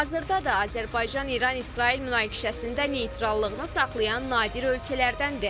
Hazırda da Azərbaycan-İran-İsrail münaqişəsində neytrallığını saxlayan nadir ölkələrdəndir.